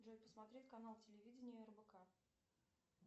джой посмотреть канал телевидения рбк